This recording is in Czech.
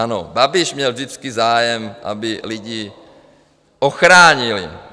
Ano, Babiš měl vždycky zájem, aby lidi ochránil.